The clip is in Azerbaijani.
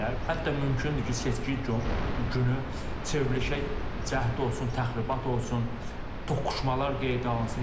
Hətta mümkündür ki, seçki günü çevrilişə cəhd olsun, təxribat olsun, toqquşmalar qeydə alınsın.